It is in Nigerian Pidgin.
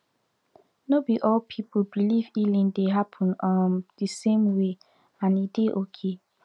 no be all people believe healing dey happen um the same way and e dey okay